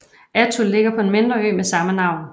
Attu ligger på en mindre ø med samme navn